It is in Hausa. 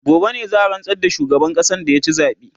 gobe ne za'a rantsar da shugaban ƙasan da ya ci zabe